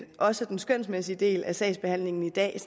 også den skønsmæssige del af sagsbehandlingen i dag